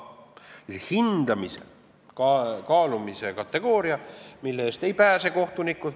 Ja hindamise, kaalumise kategooria eest kohtunik ei pääse.